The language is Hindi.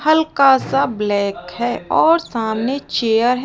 हल्का सा ब्लैक है और सामने चेयर है।